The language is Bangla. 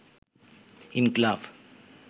ইনকিলাব